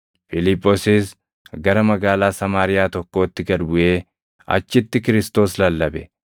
Fiiliphoosis gara magaalaa Samaariyaa tokkootti gad buʼee achitti Kiristoos lallabe.